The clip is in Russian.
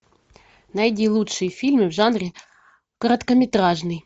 найди лучшие фильмы в жанре короткометражный